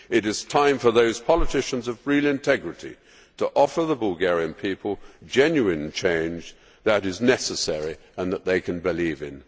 It is time for those politicians of real integrity to offer the Bulgarian people genuine change that is necessary and that they can believe in.